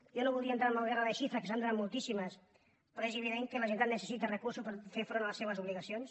jo no volia entrar en la guerra de xifres que se n’han donat moltíssimes però és evident que la generalitat necessita recursos per fer front a les seves obligacions